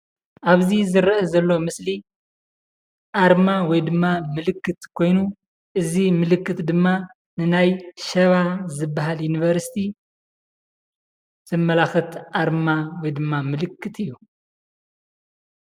ኣብዚ ዝርአ ዘሎ ምስሊ ኣርማ ወይ ድማ ምልክት ኮይኑ እዚ ምልክት ድማ ንናይ ሸባ ዝበሃል ዩንቨርስቲ ዘመላኽት ኣርማ ወይ ድማ ምልክት እዩ፡፡